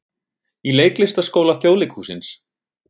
Í Leiklistarskóla Þjóðleikhússins.